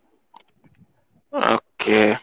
okay